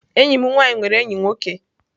Enyi m nwanyi nwere enyi nwoke.